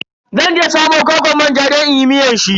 Zan je samo kwakwar manja don inyi miyar shi.